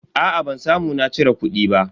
Aa ban samu na cire kudi ba.